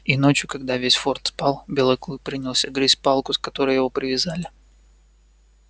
и ночью когда весь форт спал белый клык принялся грызть палку к которой его привязали